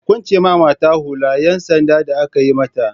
A kwance mata hular 'yan sanda da aka yi mata!